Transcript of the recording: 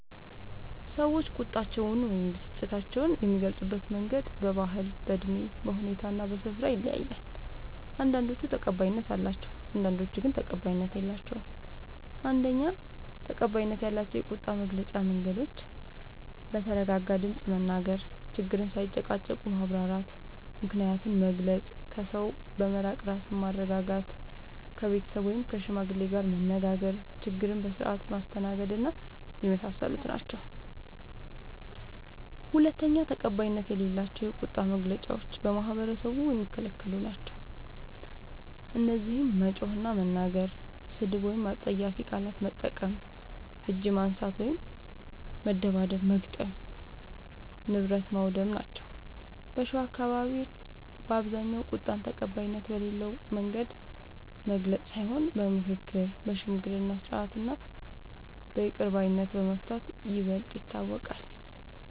ሰዎች ቁጣቸውን ወይም ብስጭታቸውን የሚገልጹበት መንገድ በባህል፣ በእድሜ፣ በሁኔታ እና በስፍራ ይለያያል። አንዳንዶቹ ተቀባይነት አላቸው፣ አንዳንዶቹ ግን ተቀባይነት የላቸዉም። ፩. ተቀባይነት ያላቸው የቁጣ መግለጫ መንገዶች፦ በተረጋጋ ድምፅ መናገር፣ ችግርን ሳይጨቃጨቁ ማብራራት፣ ምክንያትን መግለጽ፣ ከሰው በመራቅ ራስን ማረጋጋት፣ ከቤተሰብ ወይም ከሽማግሌ ጋር መነጋገር፣ ችግርን በስርዓት ማስተናገድና የመሳሰሉት ናቸዉ። ፪. ተቀባይነት የሌላቸው የቁጣ መግለጫዎች በማህበረሰቡ የሚከለክሉ ናቸዉ። እነዚህም መጮህ እና መናገር፣ ስድብ ወይም አስጸያፊ ቃላት መጠቀም፣ እጅ ማንሳት (መደብደብ/መግጠም) ፣ ንብረት ማዉደም ናቸዉ። በሸዋ አካባቢዎች በአብዛኛዉ ቁጣን ተቀባይነት በሌለዉ መንገድ መግለጽ ሳይሆን በምክክር፣ በሽምግልና ስርዓት እና በይቅር ባይነት በመፍታት ይበልጥ ይታወቃል።